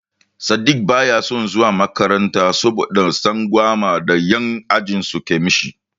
Sadiq baya son zuwa makaranta saboda tsangwama da yan' ajinsu ke mishi.